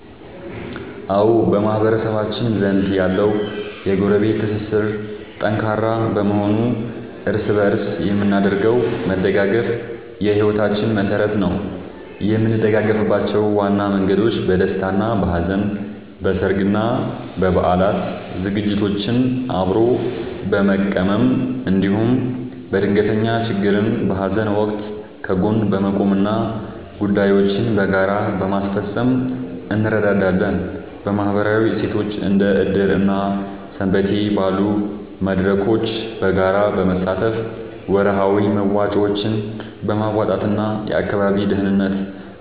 አዎ፣ በማህበረሰባችን ዘንድ ያለው የጎረቤት ትስስር ጠንካራ በመሆኑ እርስ በእርስ የምናደርገው መደጋገፍ የሕይወታችን መሠረት ነው። የምንደጋገፍባቸው ዋና መንገዶች፦ በደስታና በሐዘን፦ በሠርግና በበዓላት ዝግጅቶችን አብሮ በመቀመም፣ እንዲሁም በድንገተኛ ችግርና በሐዘን ወቅት ከጎን በመቆምና ጉዳዮችን በጋራ በማስፈጸም እንረዳዳለን። በማኅበራዊ እሴቶች፦ እንደ ዕድር እና ሰንበቴ ባሉ መድረኮች በጋራ በመሳተፍ፣ ወርሃዊ መዋጮዎችን በማዋጣትና የአካባቢን ደህንነት